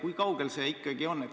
Kui kaugel see ikkagi on?